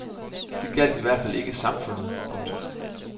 Den gjaldt i hvert fald ikke samfundet. punktum